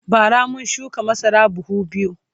bara mun shuka masara buhu biyu